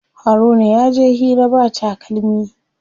Haruna yaje hira ba takalmi.